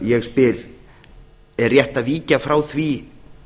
ég spyr er rétt að víkja frá því